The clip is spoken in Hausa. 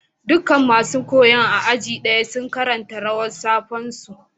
Dukan masun koyon a aji daya suna karanta rawar safe'n su.